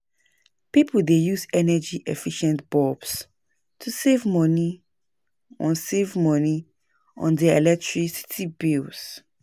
Pipo dey use energy-efficient bulbs to save money on save money on their electricity bills.